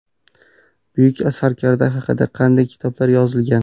Buyuk sarkarda haqida qanday kitoblar yozilgan?.